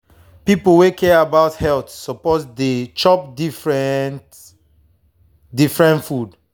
people wey care about health suppose to dey chop different different food.